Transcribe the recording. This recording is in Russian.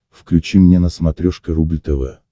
включи мне на смотрешке рубль тв